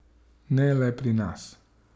Ne le pri nas.